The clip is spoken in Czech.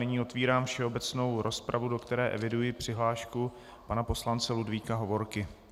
Nyní otevírám všeobecnou rozpravu, do které eviduji přihlášku pana poslance Ludvíka Hovorky.